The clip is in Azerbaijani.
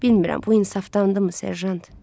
Bilmirəm bu insafdandımı, Serjant?